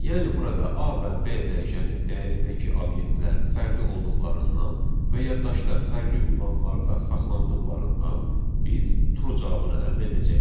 Yəni burada A və B dəyişənin dəyərindəki obyektlər fərqli olduqlarından və yaddaşda fərqli ünvanlarda saxlandığından biz true cavabını əldə edəcəyik.